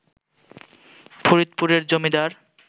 ফরিদপুরের জমিদার